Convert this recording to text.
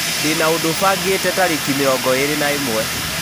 ndĩna ũndũ bangĩte tarĩki mĩrongo ĩĩrĩ na ĩmwe